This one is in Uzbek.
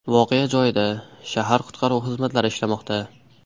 Voqea joyida shahar qutqaruv xizmatlari ishlamoqda.